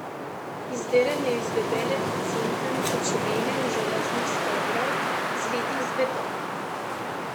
Izdelan je iz debele pocinkane pločevine in železnih stebrov, zlitih z betonom.